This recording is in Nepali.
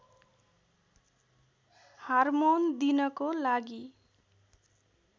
हार्मोन दिनको लागि